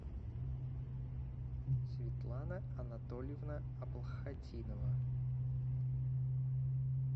светлана анатольевна аблхатинова